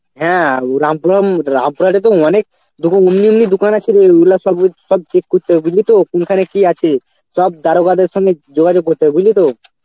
হ্যাঁ তো অনেক যখন উন্যু উন্যু দোকান আছে রে এগুলা সবু~ সব check করতে হবে বুঝলি তো কোনখানে কি আছে সব দারোগাদের সঙ্গে যোগাযোগ করতে হবে বুঝলি তো.